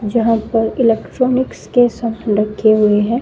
जहां पर इलेक्ट्रॉनिक्स के सब रखे हुए हैं।